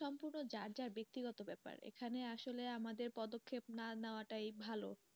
কিন্তু ওটা যার যা বেক্তিগত ব্যাপার এখানে আসলে আমাদের পদক্ষেপ না নেওয়া টাই ভালো।